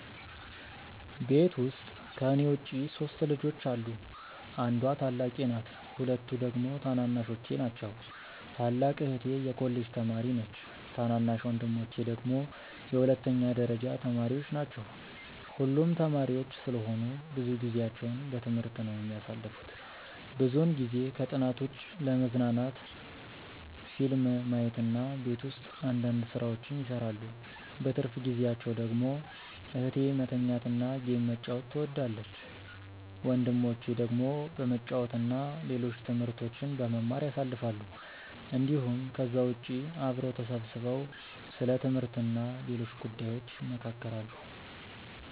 ቤት ውስጥ ከኔ ውጪ 3 ልጆች አሉ። አንዷ ታላቄ ናት ሁለቱ ደግሞ ታናናሾቼ ናቸው። ታላቅ እህቴ የኮሌጅ ተማሪ ነች ታናናሽ ወንድሞቼ ደግሞ የሁለተኛ ደረጃ ተማሪዎች ናቸው። ሁሉም ተማሪዎች ስለሆኑ ብዙ ጊዜአቸውን በትምህርት ነው የሚያሳልፉት። ብዙውን ጊዜ ከጥናት ውጪ ለመዝናናት ፊልም ማየት እና ቤት ውስጥ አንዳንድ ስራዎችን ይሰራሉ። በትርፍ ጊዜአቸው ደግሞ እህቴ መተኛት እና ጌም መጫወት ትወዳለች። ወንድሞቼ ደግሞ በመጫወት እና ሌሎች ትምህርቶችን በመማር ያሳልፋሉ እንዲሁም ከዛ ውጪ አብረው ተሰብስበው ስለ ትምህርት እና ሌሎች ጉዳዮች ይመካከራሉ።